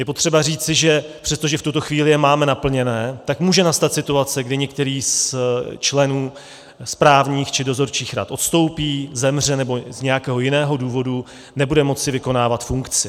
Je potřeba říci, že přestože v tuto chvíli je máme naplněny, tak může nastat situace, kdy některý z členů správních či dozorčích rad odstoupí, zemře nebo z nějakého jiného důvodu nebude moci vykonávat funkci.